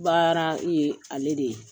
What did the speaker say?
Baara ye ale de ye